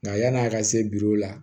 Nka yan'a ka se biw ma